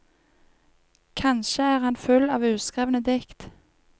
Kanskje er han full av uskrevne dikt.